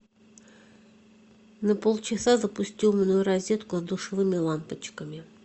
на полчаса запусти умную розетку с душевыми лампочками